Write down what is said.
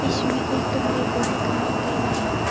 इसमें एक कमरे को दिखाया गया है।